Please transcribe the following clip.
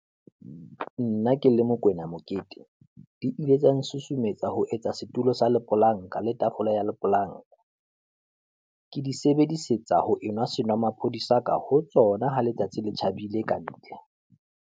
Nna ke le Mokoena Mokete, di ile tsa nsusumetsa ho etsa setulo sa lepolanka le tafole ya lepolanka. Ke di sebedisetsa ho enwa senomaphodi sa ka ho tsona ha letsatsi le tjhabile ka ntle.